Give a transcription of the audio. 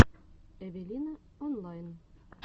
эвелина онлайн